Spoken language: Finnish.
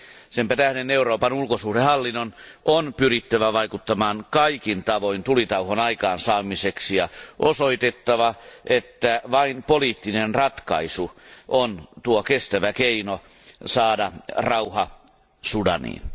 Sen tähden Euroopan ulkosuhdehallinnon on pyrittävä vaikuttamaan kaikin tavoin tulitauon aikaansaamiseksi ja osoitettava, että vain poliittinen ratkaisu on kestävä keino saada rauha Sudaniin.